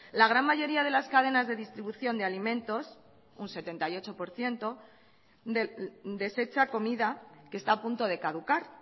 la gran mayoría de las cadenas de distribución de alimentos un setenta y ocho por ciento desecha comida que está a punto de caducar